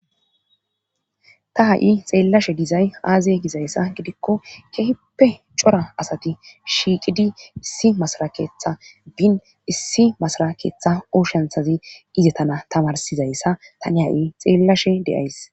ta ha'i xeellashe dizay aaze gizayssa gidikko kehippe cora asati shiiqidi issi masara keeththa bin issi masara keeththa oshanthazi izetana tamarsizayssa tani ha'i xeellashe de'ays